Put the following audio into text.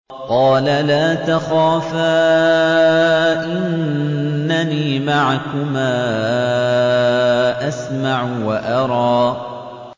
قَالَ لَا تَخَافَا ۖ إِنَّنِي مَعَكُمَا أَسْمَعُ وَأَرَىٰ